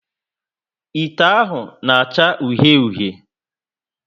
Ite ahụ na acha uhie uhie